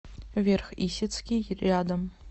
верх исетский рядом